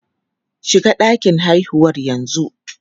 Shiga ɗakin haihuwar yanzu!